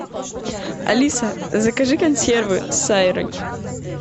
алиса закажи консервы с сайрой